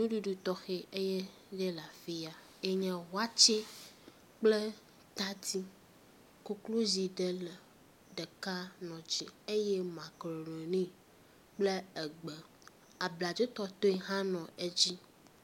ŋuɖuɖu tɔxɛ eye nye la fiya eye nye wɔtsɛ kple tadi koklozi ɖe le ɖeka nɔ dzi eye makaroni kple egbe, abladzo tɔtoe hã no edzi